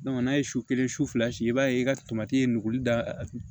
n'a ye su kelen su fila si i b'a ye i ka tomati ye nuguli da